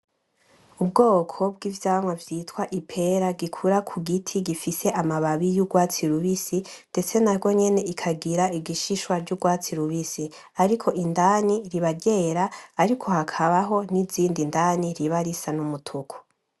ubwoko bw'ivyamwa vyitwa ipera gikura kugiti gifise amababi y'ugwatsi rubisi ndetse nagwonyene ikagira igishishwa c'ugwatsi rubisi, Ariko indani riba ryera ariko hakabaho n'izindi indani riba risa n'umutuku.